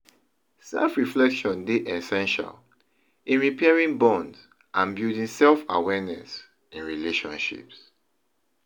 Self-reflection dey essential in repairing bonds and building self-awareness in relationships.